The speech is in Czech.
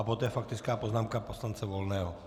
A poté faktická poznámka poslance Volného.